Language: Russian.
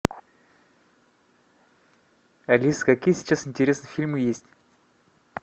алиса какие сейчас интересные фильмы есть